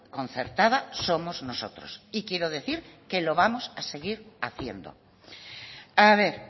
concertada somos nosotros y quiero decir que lo vamos a seguir haciendo a ver